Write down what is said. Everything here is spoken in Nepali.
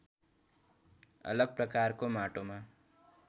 अलग प्रकारको माटोमा